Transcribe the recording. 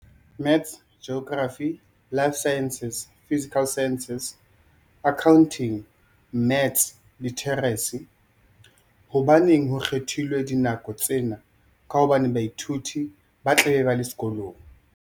Maths Geography Life Sciences Physical Sciences Accounting Maths Literacy. Hobaneng ho kgethilwe dinako tsena ka hobane baithuti ba tla be ba le sekolong.